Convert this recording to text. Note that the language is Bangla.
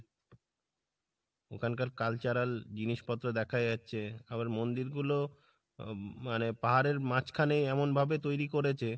ওখানকার cultural জিনিসপত্র দেখা যাচ্ছে। আবার মন্দির গুলো আহ মানে পাহাড়ের মাঝখানে এমন ভাবে তৈরি করেছে